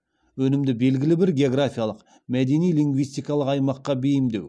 өнімді белгілі бір географиялық мәдени лингвистикалық аймаққа бейімдеу